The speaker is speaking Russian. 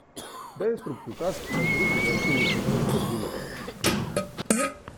дай инструкцию как другу закинуть на телефон денежку